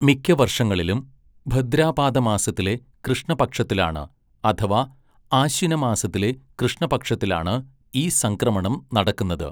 മിക്ക വർഷങ്ങളിലും, ഭദ്രാപാദമാസത്തിലെ കൃഷ്ണപക്ഷത്തിലാണ് അഥവാ ആശ്വിനമാസത്തിലെ കൃഷ്ണപക്ഷത്തിലാണ്, ഈ സംക്രമണം നടക്കുന്നത്.